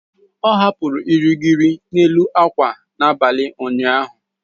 Ọ hapụrụ irighiri n'elu akwa n'abalị ụnyaahụ.